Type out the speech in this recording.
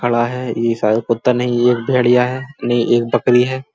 खड़ा है। ये शायद कुत्ता नहीं ये एक भेड़िया है। नहीं एक बकरी है।